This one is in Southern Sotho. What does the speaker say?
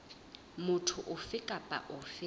motho ofe kapa ofe a